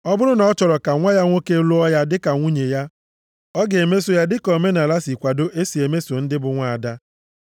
Ọ bụrụ na ọ chọrọ ka nwa ya nwoke lụọ ya dịka nwunye ya, ọ ga-emeso ya dịka omenaala si kwado e si emeso ndị bụ nwaada.